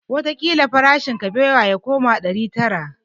Wataƙila farashin kabewa ya koma ɗari tara